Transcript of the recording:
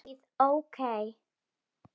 Davíð OK.